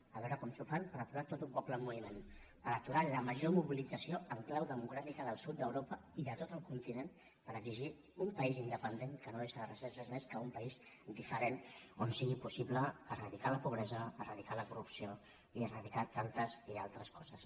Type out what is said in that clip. a veure com s’ho fan per aturar tot un poble en moviment per aturar la major mobilització en clau democràtica del sud d’europa i de tot el continent per exigir un país independent que no és res més que un país diferent on sigui possible eradicar la pobresa eradicar la corrupció i eradicar tantes i altres coses